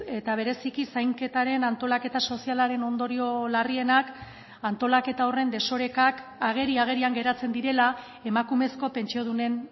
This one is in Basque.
eta bereziki zainketaren antolaketa sozialaren ondorio larrienak antolaketa horren desorekak ageri agerian geratzen direla emakumezko pentsiodunen